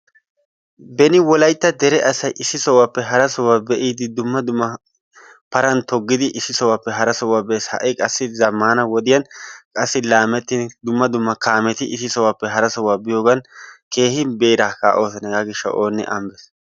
Beni wolaytta dere asay issi sohuwappe hara sohuwa be'idi dumma dumma paran toggidi issi sohuwappe hara sohuwa bees. Ha'i qassi zammana wodiyan qassi laameetidi dumma dumma kaameti issi sohuwappe hara sohuwa biyogan keehi beera kaa"oosona hegaa gishshawu oonne ane uttees.